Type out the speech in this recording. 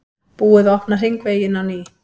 Búið að opna hringveginn á ný